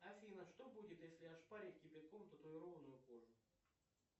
афина что будет если ошпарить кипятком татуированную кожу